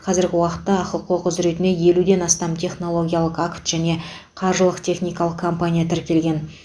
қазіргі уақытта ахқо құзіретіне елуден астам технологиялық акт және қаржылық техникалық компания тіркелген